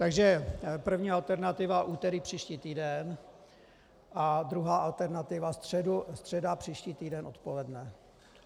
Takže první alternativa úterý příští týden a druhá alternativa středa příští týden odpoledne.